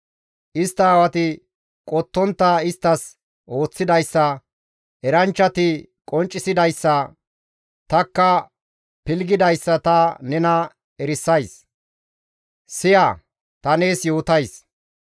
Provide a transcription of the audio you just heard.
«Istta aawati qottontta isttas ooththidayssa, eranchchati qonccisidayssa, tanikka pilggidayssa ta nena erisays; ta nees yootays.